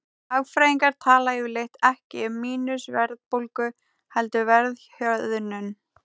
Hagfræðingar tala yfirleitt ekki um mínus-verðbólgu heldur verðhjöðnun.